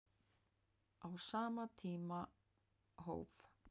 Á sama tíma hóf